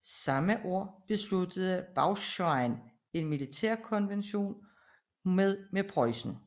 Samme år afsluttede Braunschweig en militærkonvention med Preussen